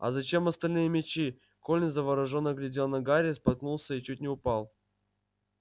а зачем остальные мячи колин заворожённо глядел на гарри споткнулся и чуть не упал